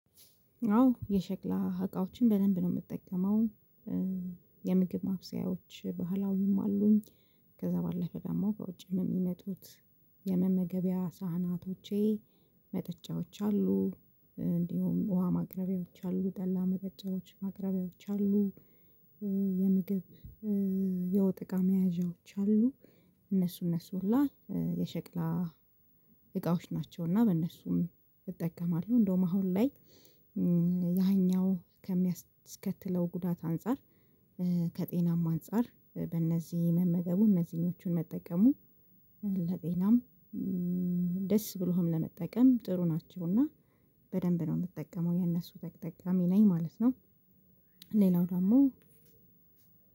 አዎ የሸክላ እቃዎችን በደንብ ነው የምጠቀመው የምግብ ማብሰያዎች ባህላዊይም አሉኝ። ከዛ ባለፈ ደግሞ ከውጭም የሚመጡት የመመገቢያ ሳህናቶቼ። መጠጫዎች አሉ እንዲሁም ውሃ ማቅረቢያዎች አሉ ጠላ መጠጫዎች ማቅረቢያዎች አሉ። የምግብ የወጥ እቃ መያዣዎች አሉ። እነሱ እነሱ ሁላ የሸክላ እቃዎች ናቸው። እና በእነሱም እጠቀማለሁ እንዳውም አሁን ላይ። ያኛው ከሚያስከትለው ጉዳት አንፃር ከጤናም አንፃር በእነዚህ መመገቡ እነዚህኞቹን መጠቀሙ። ለጤናም ደስ ብሎህም ለመጠቀም ጥሩ ናቸውና። በደንብ ነው የምጠቀመው የነሱ ተጠቃሚ ነኝ ማለት ነው። ሌላው ደግሞ